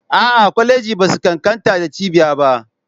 A'a, kwalejoji ba su ƙanƙanta da cibiya ba.